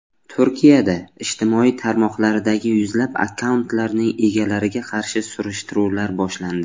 Turkiyada ijtimoiy tarmoqlardagi yuzlab akkauntlarning egalariga qarshi surishtiruvlar boshlandi.